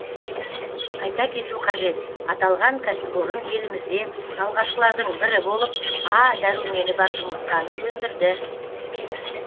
айта кету қажет аталған кәсіпорын елімізде алғашқылардың бірі болып а дәрумені бар жұмыртқаны өндірді